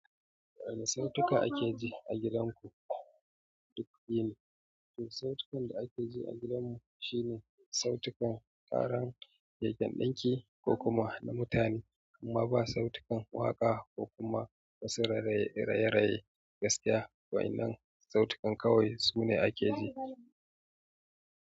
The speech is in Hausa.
Wane sautika ake ji a gidanku? Duk yini, to, sautukan da ake ji a gidanmu shine sautukan ƙarar keken ɗinki ko kuma na mutane, amma ba sautukan waƙa ko kuma wasu raye-raye gaskiya, wa'innan sautukan kawai su ne ake ji.